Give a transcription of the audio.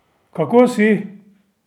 Kako si?